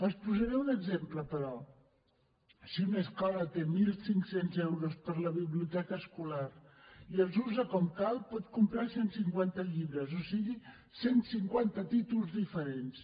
els en posaré un exemple però si una escola té mil cinc cents euros per a la biblioteca escolar i els usa com cal pot comprar cent i cinquanta llibres o sigui cent i cinquanta títols diferents